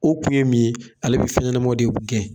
O kun ye mun ye, ale bɛ fɛnɲɛnamaw de gɛn.